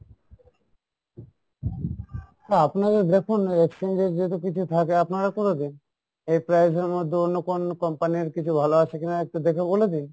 না আপনাদের দেখুন যদি কিছু থাকে আপনারা করে দিন, এই price er মধ্যে অন্য কোন company র কিছু ভালো আছে কিনা, হ্যাঁ একটু দেখে বলে দিন।